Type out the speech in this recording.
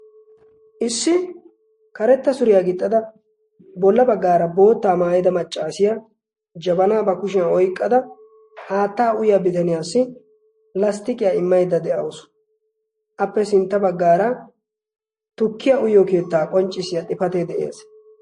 issi karetta suriyaa gixxada bolla baggaara boottaa maayida maccaasiya jabanaa ba kushiyan oiqqada haattaa uyya bitaniyaassi lasttiqiyaa immaidda de7ausu. appe sintta baggaara tukkiya uyyo keettaa qonccissiya xifatee de7ees.